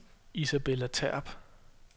Isabella Terp